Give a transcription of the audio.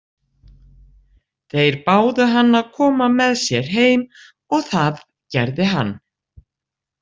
Þeir báðu hann að koma með sér heim og það gerði hann.